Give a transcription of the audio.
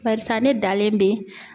Barisa ne dalen be